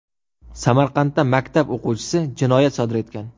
Samarqandda maktab o‘quvchisi jinoyat sodir etgan.